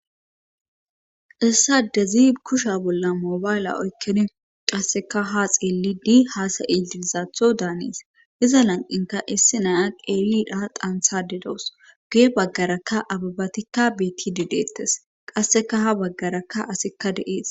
issade zi kusha bolla moobayle oykkini qasseka ha xeelidi haasayidiizaatho daanes iza lan7inka issi naya qeelidha qanthade dawus guye baggarakka ababatikka beetti dideettes qasseka ha baggarakka asikka de7ees